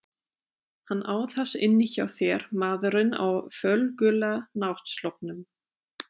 Hann á það inni hjá þér maðurinn á fölgula náttsloppnum.